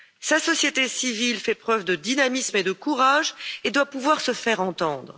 Sa société civile fait preuve de dynamisme et de courage et doit pouvoir se faire entendre.